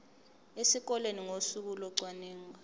esikoleni ngosuku locwaningo